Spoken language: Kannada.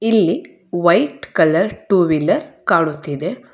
ಇಲ್ಲಿ ವೈಟ್ ಕಲರ್ ಟು ವೀಲರ್ ಕಾನುತ್ತಿದೆ.